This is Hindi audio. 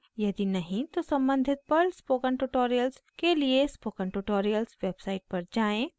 यदि नहीं तो सम्बंधित पर्ल स्पोकन ट्यूटोरियल्स के लिए स्पोकन ट्यूटोरियल्स वेबसाइट पर जाएँ